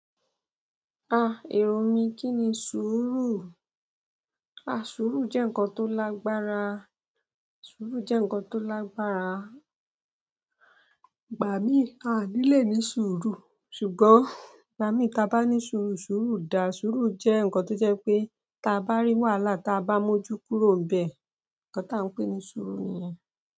Èrò mí kí ni sùúrù? Ah sùúrù jẹ́ ǹkan tó lágbára, sùúrù jẹ́ ǹkan tó lágbára. Ìgbà mí, a ní le ní sùúrù, ṣùgbọ́n ìgbà mí ta bá ní sùúrù, sùúrù dà. Sùúrù jẹ́ ǹnkan tó jẹ́ wipé ta bá rí wàhálà ta bá mọ́jú kúrò n bẹ̀. Ǹnkan táa ń pè ní sùúrù nìyẹn.